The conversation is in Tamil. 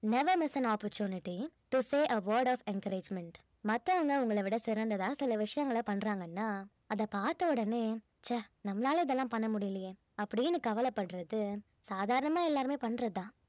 never miss an opportunity to say a word of encouragement மத்தவங்க உங்களவிட சிறந்ததா சில விஷயங்கள பண்றாங்கன்னா அதை பார்த்த உடனே ச்சே நம்மளால இதெல்லாம் பண்ண முடியலையே அப்படின்னு கவலைப்படுறது சாதாரணமா எல்லாருமே பண்றது தான்